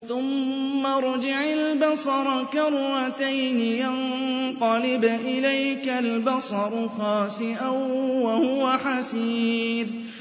ثُمَّ ارْجِعِ الْبَصَرَ كَرَّتَيْنِ يَنقَلِبْ إِلَيْكَ الْبَصَرُ خَاسِئًا وَهُوَ حَسِيرٌ